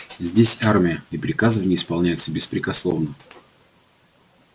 здесь армия и приказы в ней исполняются беспрекословно